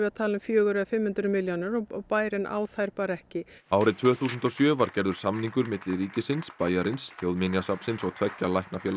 að tala um fjögur eða fimm hundruð milljónir og bærinn á þær ekki árið tvö þúsund og sjö var gerður samningur milli ríkisins bæjarins Þjóðminjasafnsins og tveggja